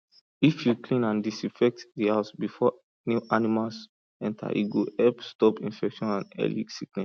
if you clean and disinfect the house before new animals enter e go help stop infection and early sickness